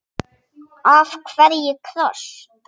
Af hverju kross?